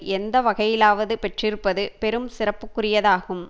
எந்த வகையிலாவது பெற்றிருப்பது பெரும் சிறப்புக்குரியதாகும்